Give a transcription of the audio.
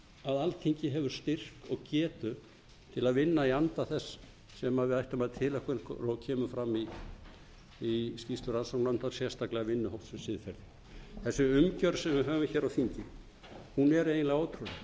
að alþingi hefur styrk og getu til að vinna í anda þess sem við ættum að tileinka okkur og kemur fram í skýrslu rannsóknarnefndar sérstaklega vinnuhóps um siðferði þessi umgjörð sem við höfum á þingi er eiginlega ótrúleg og